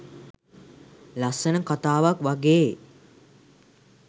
ලස්සන කතාවක් වගේ.